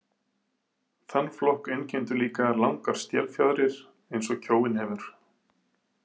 Þann flokk einkenndu líka langar stélfjaðrir eins og kjóinn hefur.